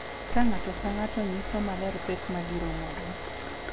Ka ng’ato ka ng’ato nyiso maler pek ma giromogo,